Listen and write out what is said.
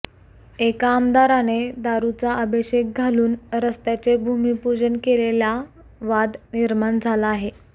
एका आमदाराने दारूचा अभिषेक घालून रस्त्याचे भूमिपूजन केलेल्या वाद निर्माण झाला आहे